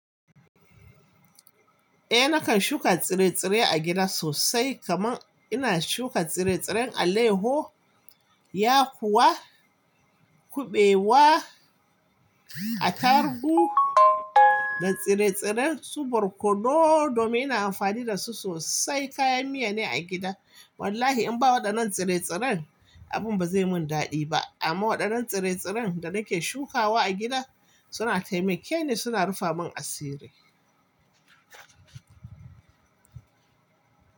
Eh nakan shuka tsire-tsire a gida sosai kamar ina shuka tsire-tsiren alayaho, ya kuwa, kuɓewa, atarhu da tsire-tsiren su borkodo domin ina amfani da su sosai kayan miya ne a gida. Wallahi in ba waɗannan tsire-tsiren abin ba zai mun daɗi ba amma waɗannan tsire-tsiren da nake shukawa a gida suna taimake ni suna rufe mun asiri.